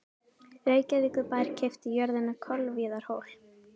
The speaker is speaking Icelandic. Reykjavíkurbær keypti jörðina Kolviðarhól.